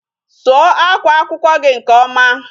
Sụọ akwa akwụkwọ gị nke ọma.